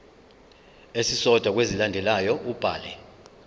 esisodwa kwezilandelayo ubhale